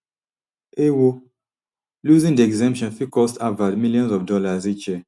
ewo losing di exemption fit cost harvard millions of dollars each year